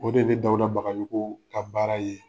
O de ye ne Dawuda Bagajogoo ka baara ye.